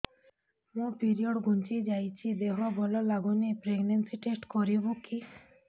ମୋ ପିରିଅଡ଼ ଘୁଞ୍ଚି ଯାଇଛି ଦେହ ଭଲ ଲାଗୁନି ପ୍ରେଗ୍ନନ୍ସି ଟେଷ୍ଟ କରିବୁ କି